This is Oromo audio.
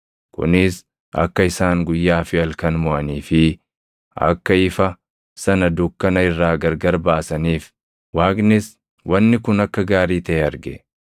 kunis akka isaan guyyaa fi halkan moʼanii fi akka ifa sana dukkana irraa gargar baasaniif. Waaqnis wanni kun akka gaarii taʼe arge.